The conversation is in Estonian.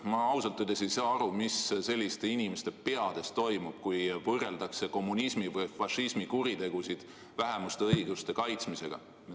Ma ausalt öeldes ei saa aru, mis selliste inimeste peades toimub, kui võrreldakse kommunismi või fašismi kuritegusid vähemuste õiguste kaitsmisega.